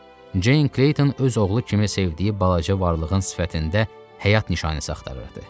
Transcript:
Jane Kleyton öz oğlu kimi sevdiyi balaca varlığın sifətində həyat nişanəsi axtarırdı.